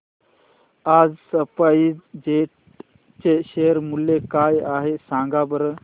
आज SpiceJet चे share मूल्य काय आहे सांगा बरं